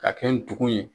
Ka kɛ ndugu ye